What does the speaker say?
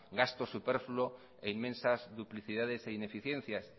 gastos superfluo e inmensas duplicidades e ineficiencias